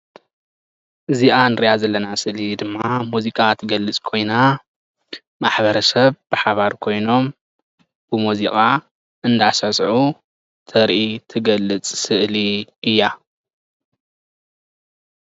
እዚኣ እንሪኣ ስልኢ ድማ ሙዚቃ እትገልፅ ኮይና ማሕበረሰብ ብሓባር ኮይኖም ብሙዚቃ እንዳሳዕሳዑ ተርኢ እትገልፅ ስእሊ እያ፡፡